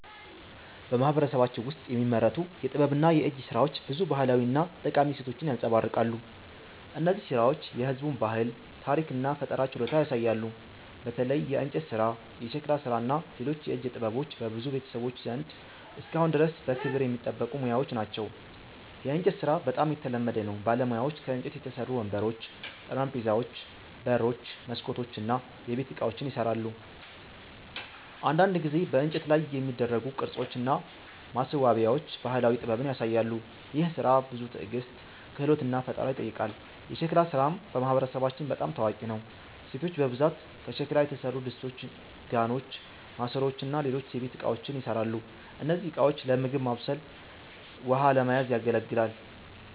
በማህበረሰባችን ውስጥ የሚመረቱ የጥበብና የእጅ ሥራዎች ብዙ ባህላዊ እና ጠቃሚ እሴቶችን ያንጸባርቃሉ። እነዚህ ሥራዎች የህዝቡን ባህል፣ ታሪክ እና ፈጠራ ችሎታ ያሳያሉ። በተለይ የእንጨት ሥራ፣ የሸክላ ሥራ እና ሌሎች የእጅ ጥበቦች በብዙ ቤተሰቦች ዘንድ እስካሁን ድረስ በክብር የሚጠበቁ ሙያዎች ናቸው። የእንጨት ሥራ በጣም የተለመደ ነው። ባለሙያዎች ከእንጨት የተሠሩ ወንበሮች፣ ጠረጴዛዎች፣ በሮች፣ መስኮቶች እና የቤት ዕቃዎችን ይሠራሉ። አንዳንድ ጊዜ በእንጨት ላይ የሚደረጉ ቅርጾች እና ማስዋቢያዎች ባህላዊ ጥበብን ያሳያሉ። ይህ ሥራ ብዙ ትዕግስት፣ ክህሎት እና ፈጠራ ይጠይቃል። የሸክላ ሥራም በማህበረሰባችን በጣም ታዋቂ ነው። ሴቶች በብዛት ከሸክላ የተሠሩ ድስቶች፣ ጋኖች፣ ማሰሮዎች እና ሌሎች የቤት እቃዎችን ይሠራሉ። እነዚህ ዕቃዎች ለምግብ ማብሰል ውሃ ለመያዝ ያገለግላል